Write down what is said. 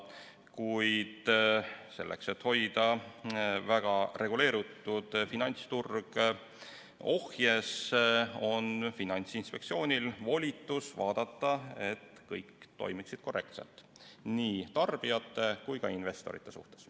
Kuid selleks, et hoida väga reguleeritud finantsturg ohjes, on Finantsinspektsioonil volitus vaadata, et kõik toimiksid korrektselt nii tarbijate kui ka investorite suhtes.